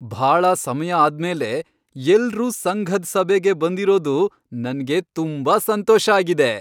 ಭಾಳ ಸಮಯ ಆದ್ಮೇಲೆ ಎಲ್ರೂ ಸಂಘದ್ ಸಭೆಗೆ ಬಂದಿರೋದು ನನ್ಗೆ ತುಂಬಾ ಸಂತೋಷ ಆಗಿದೆ.